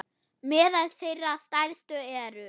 Meðal þeirra stærstu eru